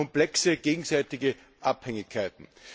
Das schafft komplexe gegenseitige Abhängigkeiten.